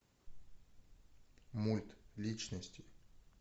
мульт личности